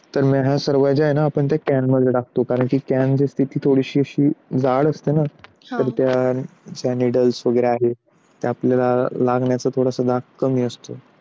तर मग ह्या सर्व ज्यांना can मध्ये टाकतो. कारण कांची स्थिती जी असते ना? ती थोडी जाड असते ना? तर त्यासाठी niddles आहे ते आपल्याला लागण्याचा धाक थोडासा कमी असतो.